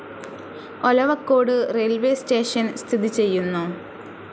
Olavakkode railways station സ്ഥിതി ചെയ്യുന്നു.